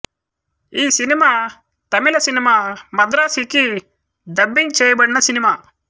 ఈ cinema Tamil cinema Madrasi కి dubbing చేయబడిన సినిమా